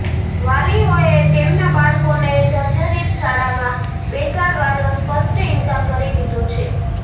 વાલીઓએ તેમના બાળકોને જર્જરીત શાળામાં બેસાડવાનો સ્પષ્ટ ઈન્કાર કરી દીધો છે